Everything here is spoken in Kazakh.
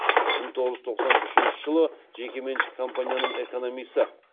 мың тоғыз жүз тоқсан үшінші жылы жекеменшік компанияның экономисі